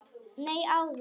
Nei, áður.